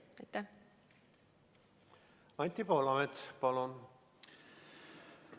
Anti Poolamets, palun!